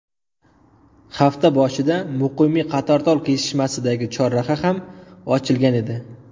Hafta boshida Muqimiy Qatortol kesishmasidagi chorraha ham ochilgan edi.